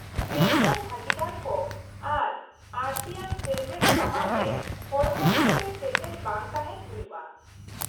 -Pension ᱵᱷᱟᱹᱜᱤᱫᱟᱨ ᱠᱚ ᱟᱨ ᱟᱹᱲᱛᱤᱭᱟᱱ ᱥᱮᱢᱞᱮᱫ ᱥᱟᱢᱟᱝᱨᱮ ᱦᱚᱲᱢᱚ ᱞᱮᱠᱟᱛᱮ ᱥᱮᱴᱮᱨ ᱵᱟᱝ ᱛᱟᱦᱮᱱ ᱦᱩᱭᱩᱜᱼᱟ ᱾